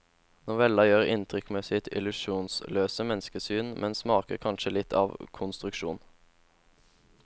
Novellen gjør inntrykk med sitt illusjonsløse menneskesyn, men smaker kanskje litt av konstruksjon.